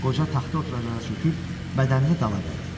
Qoca taxta oturacağıa çöküb bədənini dala verdi.